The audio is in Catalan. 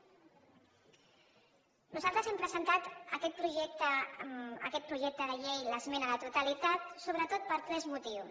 nosaltres hem presentat a aquest projecte de llei l’esmena a la totalitat sobretot per tres motius